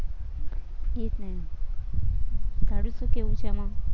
એ જ ને તારું શું કેવું છે એમાં